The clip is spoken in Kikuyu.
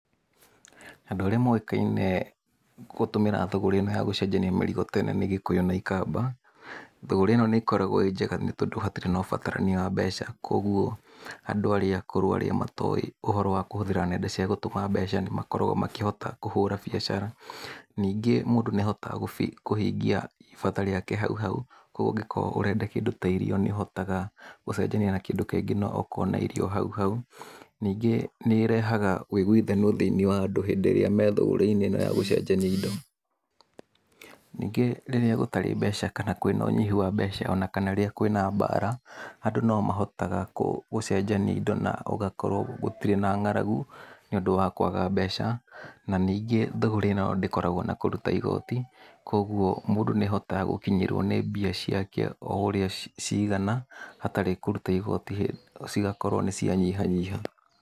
Andũ arĩa moĩkaine gũtũmĩra thũgũrĩ-inĩ ĩno ya gũcenjania marigũ nĩ Gĩkũyũ na Ikamba, thũgũrĩ ĩno nĩ ĩkoragwo ĩ njega nĩ tondũ hatirĩ na ũbatarania wa mbeca koguo andũ arĩa akũrũ andũ arĩa matoĩ ũhoro wa kũhũthĩra nenda cia gũtũma mbeca, nĩ makoragwo makĩhota kũhũra biashara. Ningĩ mũndũ nĩahotaga gũkorwo akĩhingia ibata rĩake hauhau, koguo ũngĩkorwo nĩ ũrenda kĩndũ ta irio, nĩ ũhotaga gũcenjania na kĩndũ kĩngĩ nawe ũkonairio hau hau, ningĩ nĩ ĩrehaga ũiguithanio thĩiniĩ wa andũ hĩndĩ ĩrĩa me thũgĩrĩ inĩ ĩno ya gũcenjania indo. Ningĩ rĩrĩa gũtarĩ mbeca kana kwĩ na ũnyihu wa mbca kana wĩ na mbara, andũ no mahotaga gũ gũcenjania indo na gũgakorwo gũtirĩ na ng'aragu, nĩ ũndũ wa kwaga mbeca. Na ningĩ thũgũrĩ-ĩno ndĩkoragwo na kũruta igooti, koguo mũndũ nĩahotaga gũkinyĩrwo nĩ mbia ciake o ũrĩa cigana, hatarĩ kũruta igooti cigakorwo nĩ cia nyiha nyiha.